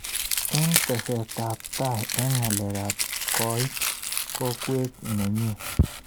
Eng teset ab tai eng ngalalet koit kokwet nenyi.